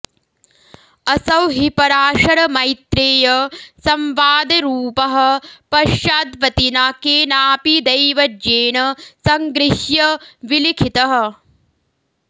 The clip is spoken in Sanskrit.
असौ हि पराशरमैत्रेयसंवादरूपः पश्चाद्वतिना केनापि दैवज्ञेन सङ्गृह्य विलिखितः